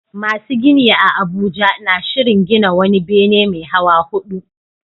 Masu gini a Abuja na shirin gina wani bene mai hawa hudu